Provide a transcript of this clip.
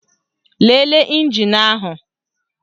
Lelee ịnjin ahụ